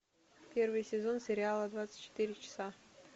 первый сезон сериала двадцать четыре часа